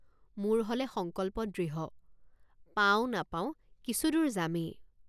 মোৰ হলে সংকল্প দৃঢ়। মোৰ হলে সংকল্প দৃঢ়। পাওঁ নাপাওঁ কিছুদূৰ যামেই।